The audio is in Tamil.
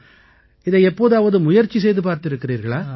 இதை எப்போதாவது முயற்சி செய்து பார்த்திருக்கிறீர்களா